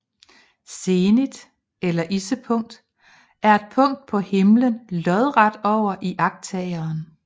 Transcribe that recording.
Zenit eller issepunkt er et punkt på himlen lodret over iagttageren